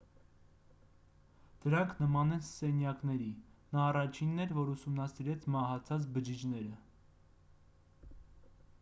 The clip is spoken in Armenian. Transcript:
դրանք նման են սենյակների նա առաջինն էր որ ուսումնասիրեց մահացած բջիջները